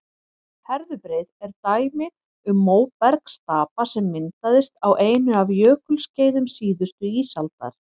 herðubreið er dæmi um móbergsstapa sem myndaðist á einu af jökulskeiðum síðustu ísaldar